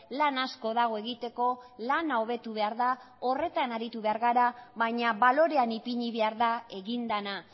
lan asko dago egiteko lana hobetu behar da horretan aritu behar gara baina balorean ipini behar da egin dena